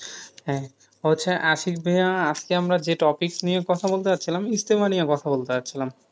ও হচ্ছে, আশিক ভাইয়া, আজকে আমরা যে topic নিয়ে কথা বলতে যাচ্ছিলাম, ইজতেমা নিয়ে কথা বলতে চাচ্ছিলাম।